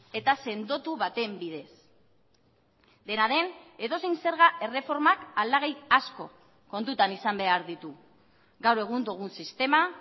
eta sendotu baten bidez dena den edozein zerga erreformak aldagai asko kontutan izan behar ditu gaur egun dugun sistema